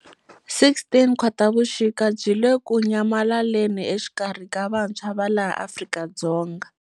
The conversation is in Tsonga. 16 Khotavuxika byi le ku nyamalaleni exikarhi ka vantshwa va laha Afrika-Dzonga.